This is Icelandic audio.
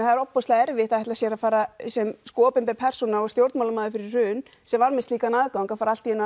það er ofboðslega erfitt að ætla sér að fara sem opinber persóna og stjórnmálamaður fyrir hrun sem var með slíkan aðgang að fara allt í einu